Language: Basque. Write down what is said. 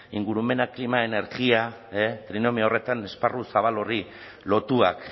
ingurumena klima energia trinomio horretan esparru zabal horri lotuak